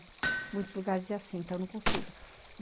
Em muitos lugares é assim, então eu não consigo.